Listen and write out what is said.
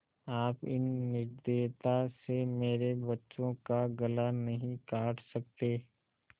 आप इस निर्दयता से मेरे बच्चों का गला नहीं काट सकते